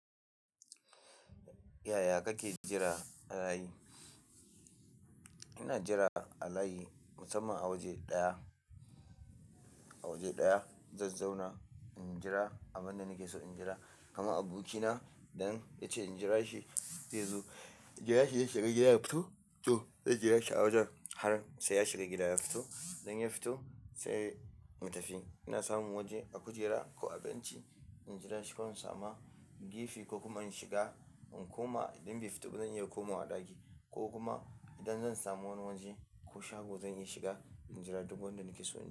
Yaya kake jira a layi? Ina jira a layi musamman a waje ɗaya, a waje ɗaya zan zauna in jira abin da nake so in jira. Kaman abokina idan yace in jira shi zaizo, jira shi ya shiga gida ya fito, to zan jira shi a wajen har sai ya shiga gida ya fito. IDan ya fito sai mu tafi. Ina samu waje a kujera ko a benci in jira shi. Ko in samu gefe ko kuma in shiga in koma idan bai fito ba zan iya komawa ɗaki. Ko kuma idan zan samu wani waje ko shago zan iya shiga in jira duk wanda nake so in jira.